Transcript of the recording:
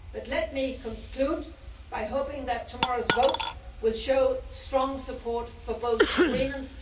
Let me conclude by hoping that tomorrow's vote will show strong support for both agreements.